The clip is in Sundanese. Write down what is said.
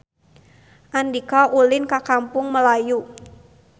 Andika ulin ka Kampung Melayu